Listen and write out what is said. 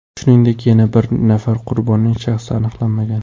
Shuningdek, yana bir nafar qurbonning shaxsi aniqlanmagan.